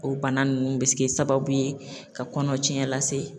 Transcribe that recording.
O bana ninnu bɛ se ke sababu ye ka kɔnɔcɛ lase